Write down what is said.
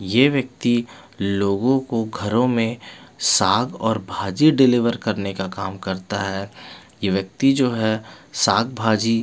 ये व्यक्ति लोगोंको घरों में साग और भाजी डिलीवर करने का काम करता है ये व्यक्ति जो है साग भाजी--